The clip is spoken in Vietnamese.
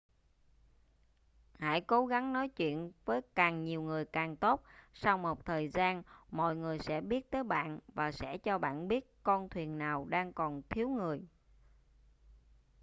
hãy cố gắng nói chuyện với càng nhiều người càng tốt sau một thời gian mọi người sẽ biết tới bạn và sẽ cho bạn biết con thuyền nào đang còn thiếu người